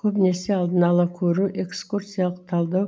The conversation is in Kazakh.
көбінесе алдын ала көру экскурсиялық талдау